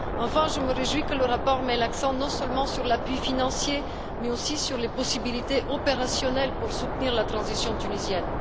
Enfin, je me réjouis que le rapport mette l'accent non seulement sur l'appui financier, mais aussi sur les possibilités opérationnelles pour soutenir la transition tunisienne.